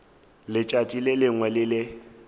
letšatši le lengwe le le